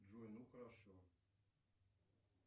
джой ну хорошо